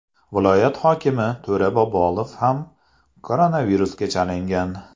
Viloyat hokimi To‘ra Bobolov ham koronavirusga chalingan .